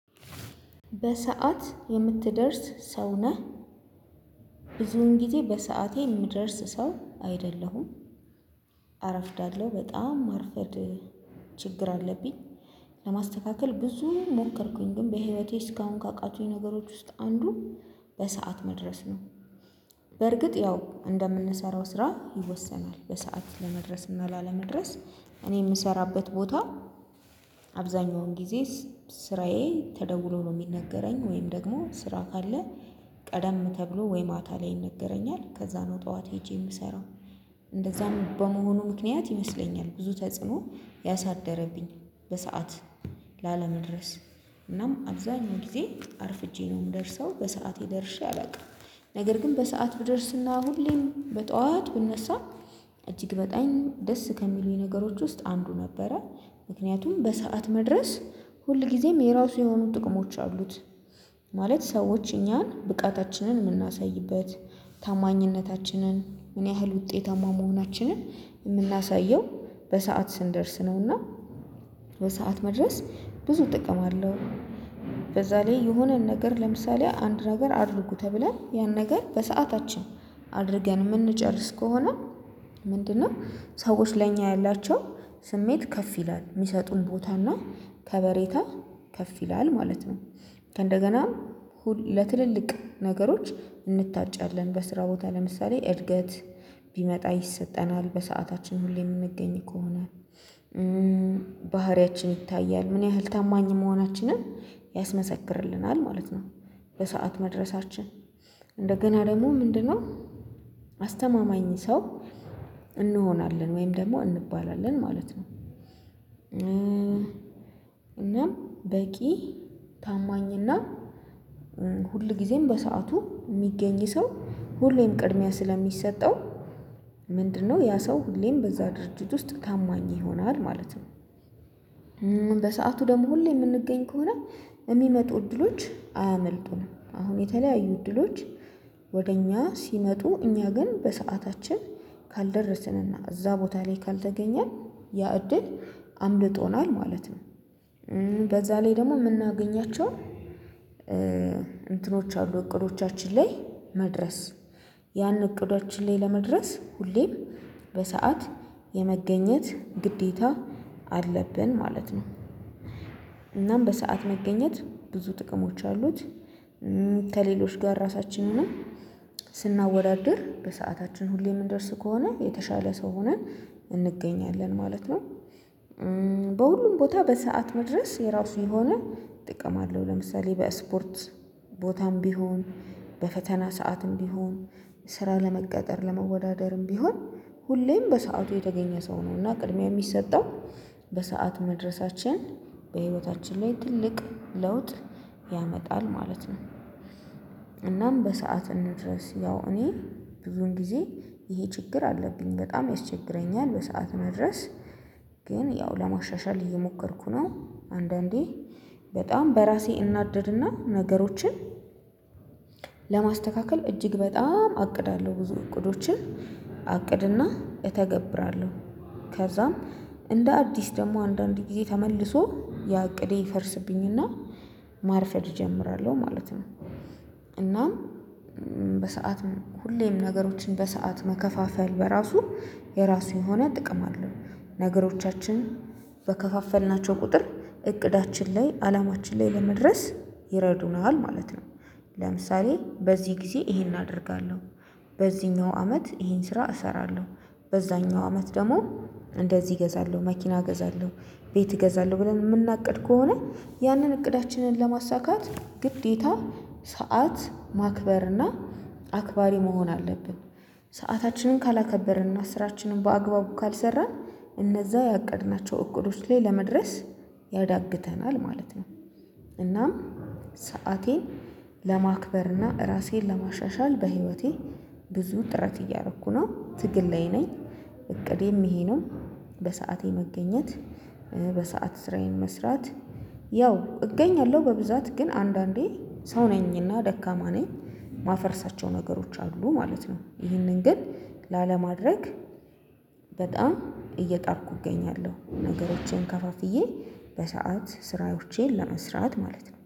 በሰአት የምትደርስ ሰው ነህ? ብዙን ጊዜ በሰአቴ የምደርስ ሰው አይደለሁም። አረፍዳለሁ በጣም ማርፈድ ችግር አለብኝ። ለማስተካከል ብዙ ሞከርኩኝ ግን በህይወቴ እስካሁን ካቃቱኝ ነገሮች ውስጥ አንዱ በሰአት መድረስ ነው። በርግጥ ያው እንደምንሰራው ስራ ይወሰናል በሰአት ለመድረስ እና ላለመድረስ እኔ የምሰራበት ቦታ። አብዛኛውን ጊዜ ስራዬ ተደውሎ ነው የሚነገረኝ ወይም ደግሞ ስራ ካለ ቀደም ተብሎ ወይ ማታ ላይ ይነገረኛል ከዛ ነው ጠዋት ሄጄ የምሰራው። እንደዛም በመሆኑ ምክንያት ይመስለኛል ብዙ ተጽዕኖ ያሳደረብኝ በሰአት ላለመድረስ እናም አብዛኛው ጊዜ አርፍጄ ነው የምደርሰው በሰአቴ ደርሼ አላውቅም። ነገር ግን በሰአት ብደርስና ሁሌም በጧት ብነሳ እጅግ በጣም ደስ ከሚሉኝ ነገሮች ውስጥ አንዱ ነበረ። ምክንያቱም በሰአት መድረስ ሁልጊዜም የራሱ የሆኑ ጥቅሞች አሉት። ማለት ሰዎች እኛን ብቃታችንን የምናሳይበት ታማኝነታችንን ምን ያህል ውጤታማ መሆናችንን የምናሳየው በሰአት ስንደርስ ነውና። በሰአት መድረስ ብዙ ጥቅም አለው። በዛ ላይ የሆነን ነገር ለምሳሌ አንድ ነገር አድርጉ ተብለን ያን ነገር በሰአታችን አድርገን የምንጨርስ ከሆነ ምንድነው ሰዎች ለኛ ያላቸው ስሜት ከፍ ይላል የሚሰጡን ቦታና ከበሬታ ከፍ ይላል ማለት ነው። ከእንደገና ለትልልቅ ነገሮች እንታጫለን በስራ ቦታ ለምሳሌ እድገት ቢመጣ ይሰጠናል በሰአታችን ሁሌም የምንገኝ ከሆነ። ባህሪያችን ይታያል ምን ያህል ታማኝ መሆናችንን ያስመሰክርልናል ማለት ነው። በሰአት መድረሳችን እንደገና ደግሞ ምንድነው? አስተማማኝ ሰው እንሆናለን ወይም ደግሞ እንባላለን ማለት ነው። እናም በቂ ታማኝና ሁል ጊዜም በሰአቱ የሚገኝ ሰው ሁሌም ቅድሚያ ስለሚሰጠው ምንድነው ያ ሰው ሁሌም በዛ ድርጅት ውስጥ ታማኝ ይሆናል ማለት ነው። በሰአቱ ደግሞ ሁሌ የምንገኝ ከሆነ የሚመጡ እድሎች አያመልጡንም አሁን የተለያዩ እድሎች ወደ እኛ ሲመጡ እኛ ግን በሰአታችን ካልደረስንና እዛ ቦታ ላይ ካልተገኘን ያእድል አምልጦናል ማለት ነው። በዛ ላይ ደግሞ የምናገኛቸው እንትኖች አሉ እቅዶቻችን ላይ መድረስ ያን እቅዳችን ላይ ለመድረስ ሁሌም በሰአት የመገኘት ግዴታ አለብን ማለት ነው። በሰአት መገኘት ብዙ ጥቅሞች አሉት። ከሌሎች ጋር ራሳችንንም ስናወዳድር በሰአታችን ሁሌ የምንደርስ ከሆነ የተሻለ ሰው ሆነን እንገኛለን ማለት ነው። በሁሉም ቦታ በሰአት መድረስ የራሱ የሆነ ጥቅም አለው። ለምሳሌ በስፖርት ቦታም ቢሆን በፈተና ሰዓትም ቢሆን ስራ ለመቀጠር ለመወዳደርም ቢሆን ሁሌም በሰአቱ የተገኘ ሰው ነው እና ቅድሚያ የሚሰጠው በሰአት መድረሳችን በሕይወታችን ላይ ትልቅ ለውጥ ያመጣል ማለት ነው። እናም በሰአት እንድረስ ያው እኔ ብዙን ጊዜ ይሄ ችግር አለብኝ በጣም ያስቸግረኛል በሰአት መድረስ። ግን ያው ለማሻሻል እየሞከርኩ ነው። አንዳንዴ በጣም በራሴ እናደድና ነገሮችን ለማስተካከል እጅግ በጣም አቅዳለሁ ብዙ እቅዶችን አቅድና እተገብራለሁ ከዛም እንደ አዲስ ደግሞ አንዳንድ ጊዜ ተመልሶ ያ ዕቅዴ ይፈርስብኝና ማርፈድ እጀምራለሁ ማለት ነው። እናም በሰአት ሁሌም ነገሮችን በሰአት መከፋፈል በራሱ የራሱ የሆነ ጥቅም አለው። ነገሮቻችን በከፋፈልናቸው ቁጥር እቅዳችን ላይ አላማችን ላይ ለመድረስ ይረዱናል ማለት ነው። ለምሳሌ በዚህ ጊዜ ይሄን አደርጋለሁ። በዚህኛው አመት ይሄን ስራ እሰራለሁ። በዛኛው አመት ደግሞ እንደዚህ እገዛለሁ መኪና እገዛለሁ። ቤት እገዛለሁ ብለን የምናቅድ ከሆነ ያንን እቅዳችንን ለማሳካት ግዴታ ሰዓት ማክበር እና አክባሪ መሆን አለብን። ሰአታችንን ካላከበረን እና ስራችንን በአግባቡ ካልሰራን እነዛ ያቀድናቸው እቅዶች ላይ ለመድረስ ያዳግተናል ማለት ነው። እናም ሰአቴን ለማክበርና ራሴን ለማሻሻል በህይወቴ ብዙ ጥረት እያደረኩ ነው ትግል ላይ ነኝ። እቅዴም ይሄ ነው። በሰአቴ መገኘት በሰአት ስራዬን መስራት። ያው እገኛለሁ በብዛት ግን አንዳንዴ ሰው ነኝና ደካማ ነኝ የማፈርሳቸው ነገሮች አሉ ማለት ነው። ይህንን ግን ላለማድረግ በጣም እየጣርኩ እገኛለሁ ነገሮቼን ከፋፍዬ በሰአት ስራዎቼን ለመስራት ማለት ነው